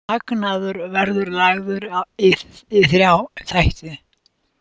Hagnaður verður lagður í þrjá þætti